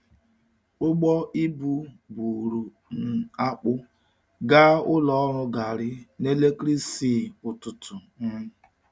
Ụgbọ ibu buru um akpụ gaa ụlọ ọrụ garri na-elekere isii ụtụtụ. um